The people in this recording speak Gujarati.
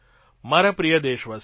મારા પ્રિય દેશવાસીઓ